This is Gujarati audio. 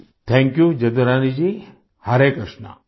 આપનો આભાર જદુરાની જીહરે કૃષ્ણા